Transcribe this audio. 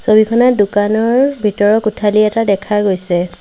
ছবিখনত দোকানৰ ভিতৰৰ কোঠালি এটা দেখা গৈছে।